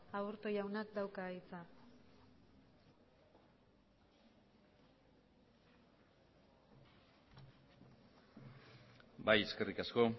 aburto jaunak dauka hitza bai eskerrik asko